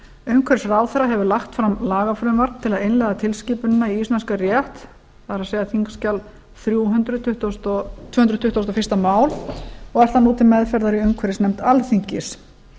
umhverfisráðherra hefur lagt fram lagafrumvarp til að innleiða tilskipunina í íslenskan rétt það er þingskj þrjú hundruð tvö hundruð tuttugu og eitt mál og er það nú til meðferðar í umhverfisnefnd alþingis